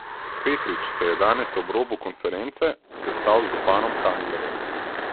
Petrič se je danes ob robu konference sestal z županom Kanglerjem.